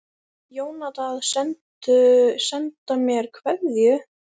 Jónatan að senda mér kveðju?